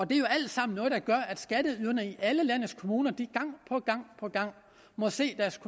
det er jo alt sammen noget der gør at skatteyderne i alle landets kommuner gang på gang må se deres